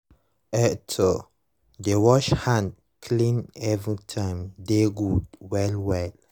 ehto dey wash hand clean every time dey good well well